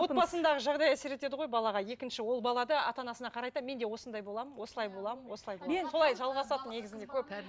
отбасындағы жағдай әсер етеді ғой балаға екінші ол бала да ата анасына қарайды да мен де осындай боламын осылай боламын осылай боламын солай жалғасады негізінде көп